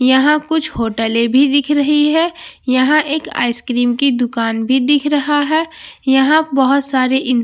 यहां कुछ होटले भी दिख दे रही हैं यहां एक आइसक्रीम की दुकान भी दिख रहा है यहां बहुत सारे इंसान भी दिख--